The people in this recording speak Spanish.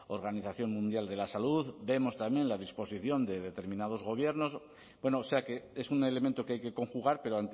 organización mundial de la salud vemos también la disposición de determinados gobiernos bueno o sea que es un elemento que hay que conjugar pero